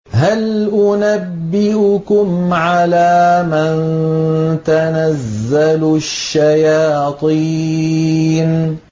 هَلْ أُنَبِّئُكُمْ عَلَىٰ مَن تَنَزَّلُ الشَّيَاطِينُ